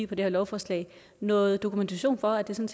på det her lovforslag noget dokumentation for at det